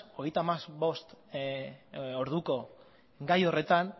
hogeita hamabost orduko gai horretan